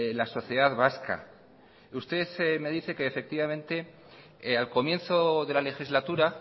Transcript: la sociedad vasca usted me dice que efectivamente al comienzo de la legislatura